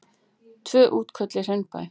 Tvö útköll í Hraunbæ